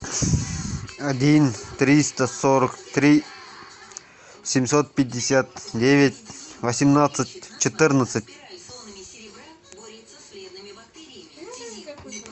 один триста сорок три семьсот пятьдесят девять восемнадцать четырнадцать